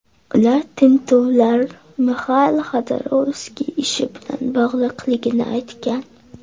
Ular tintuvlar Mixail Xodorkovskiy ishi bilan bog‘liqligini aytgan.